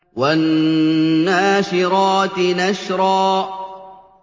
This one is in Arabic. وَالنَّاشِرَاتِ نَشْرًا